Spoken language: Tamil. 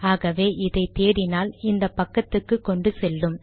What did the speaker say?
ஆகவே இதை தேடினால் இந்த பக்கத்துக்கு கொண்டு செல்லும்